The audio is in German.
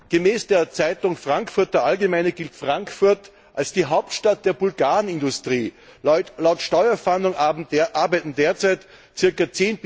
Gemäß der Zeitung Frankfurter Allgemeine gilt Frankfurt als die Hauptstadt der Bulgaren Industrie. Laut Steuerfahndung arbeiten derzeit ca.